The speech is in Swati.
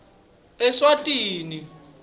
eswatini